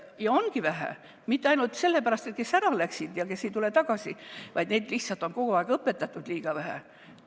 Ja ongi vähe, mitte ainult nende pärast, kes ära läksid ega tule tagasi, vaid neid on lihtsalt kogu aeg õpetatud liiga vähe.